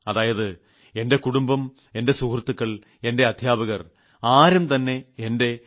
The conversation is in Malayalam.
അതായത് എന്റെ കുടുംബം എന്റെ സുഹൃത്തുക്കൾ എന്റെ അധ്യാപകർ ആരും തന്നെ എന്റെ 89